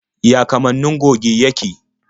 Ya kamannin goge yake?